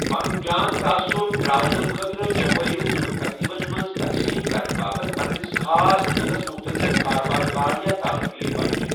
پَنُن جان تعاصٗر ترٛاونہٕ کۭھٲترٕ چَھپٲیِوٛ یِِمَن تَقریٖبَن مَنٛز تَقسیٖم کَرنہٕ باپت پَننِس خاص تیٖلَس مُتعلِق کارٕبٲرِ کارڈ یا تعرٗفی پرچہِ ۔